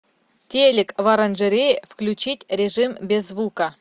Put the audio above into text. телик в оранжерее включить режим без звука